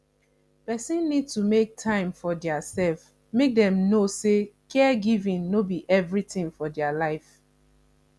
person need to make time for their self make dem know sey caregiving no be everything for their life